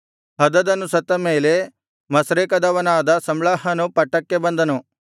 ಹದದನು ಸತ್ತ ಮೇಲೆ ಮಸ್ರೇಕದವನಾದ ಸಮ್ಲಾಹನು ಪಟ್ಟಕ್ಕೆ ಬಂದನು